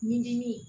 Ɲinini